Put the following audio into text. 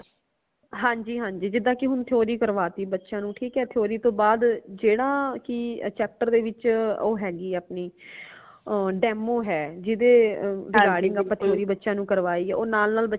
ਹਾਂਜੀ ਹਾਂਜੀ ਜਿਦਾ ਕਿ ਕਿ ਹੁਣ theory ਕਰਵਾਤੀ ਬੱਚਿਆਂ ਨੂ ਠੀਕ ਹੈ theory ਤੋਂ ਬਾਅਦ ਜੇੜਾ ਕਿ chapter ਵਿਚ ਉਹ ਹੇਗੀ ਹੈ ਆਪਣੀ demo ਹੈ ਜਿਦੇ regarding ਆਪਾ theory ਬੱਚਿਆਂ ਨੂ ਕਰਵਾਈ ਹੈ ਓ ਨਾਲ ਨਾਲ